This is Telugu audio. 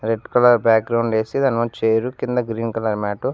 రెడ్ కలర్ బ్యాగ్రౌండ్ ఏసి దానిముందు చైరు కింద గ్రీన్ కలర్ మ్యాట్ --